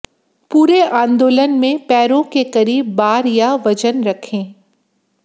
पूरे आंदोलन में पैरों के करीब बार या वजन रखें